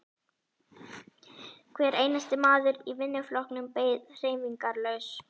Hver einasti maður í vinnuflokknum beið hreyfingarlaus.